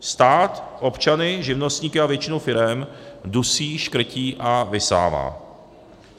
Stát občany, živnostníky a většinu firem dusí, škrtí a vysává.